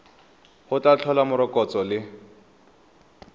go tla tlhola morokotso le